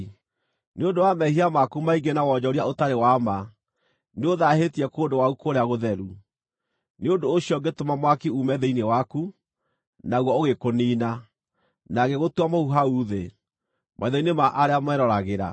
Nĩ ũndũ wa mehia maku maingĩ na wonjoria ũtarĩ wa ma, nĩũthaahĩtie kũndũ gwaku kũrĩa-gũtheru. Nĩ ũndũ ũcio ngĩtũma mwaki uume thĩinĩ waku, naguo ũgĩkũniina, na ngĩgũtua mũhu hau thĩ, maitho-inĩ ma arĩa meeroragĩra.